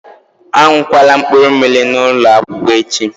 A ṅụkwala mkpụrụmmiri n'ụlọ akwụkwọ echi!